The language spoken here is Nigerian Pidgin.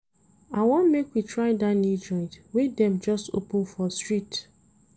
I wan make we try dat new joint wey dem just open for street.